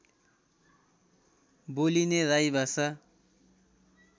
बोलिने राई भाषा